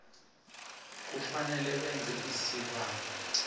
kufanele benze isibawo